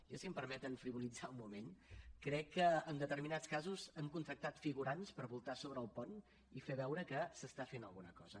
jo si em permeten frivolitzar un moment crec que en determinats casos han contractat figurants per voltar sobre el pont i fer veure que s’hi fa alguna cosa